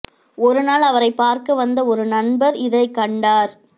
ஒரு நாள் அவரைப் பார்க்க வந்த ஒரு நண்பர் இதைக் கண்டார்